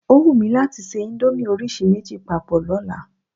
O wù mí láti ṣe íńdómì orísìí méjì papọ̀ lọ́la.